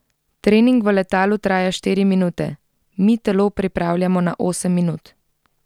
Trening v letalu traja štiri minute, mi telo pripravljamo na osem minut.